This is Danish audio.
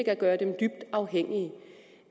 at gøre dem dybt afhængige